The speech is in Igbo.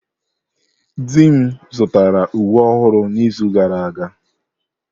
Di m zụtara uwe ọhụrụ n'izu gara aga.